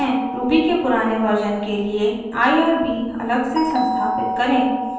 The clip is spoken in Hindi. ruby के पुराने वर्जन के लिए irb अलग से संस्थापित करें